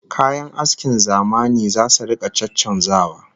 Kayan askin zamani zasu rika caccanzawa